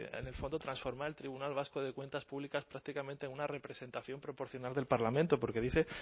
de en el fondo transformar el tribunal vasco de cuentas públicas prácticamente a una representación proporcional del parlamento porque dice